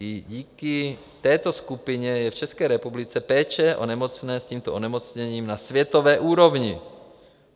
I díky této skupině je v České republice péče o nemocné s tímto onemocněním na světové úrovni.